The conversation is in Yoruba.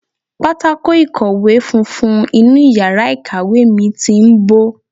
Pátákó ìkọ̀wé funfun inú yàrá ìkàwé mi ti ń bó.